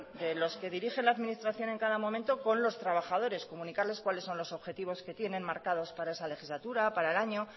los que dirigen la administración en cada momento con los trabajadores comunicarles cuáles son los objetivos que tienen marcados para esa legislatura para el año